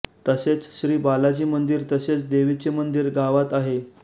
तसेच श्री बालाजी मंदिर तसेच देवीचे मंदिर गावात आहे